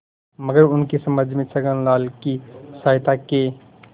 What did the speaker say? मगर उनकी समझ में छक्कनलाल की सहायता के